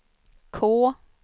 K